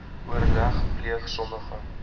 oorleg pleeg sommige